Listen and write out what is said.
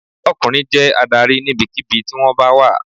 Ọkùnrin jẹ́ adarí níbikíbi tí wón bá wà